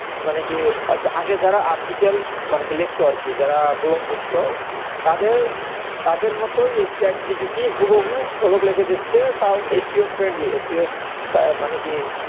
মানে কি আগে যারা article মানে কি লিখত আরকি যারা blog লিখতো তাদের তাদের মতই এই chat GPT হুবাহু blog লিখে দিচ্ছে তাও SEOfriendlySEO মানে কি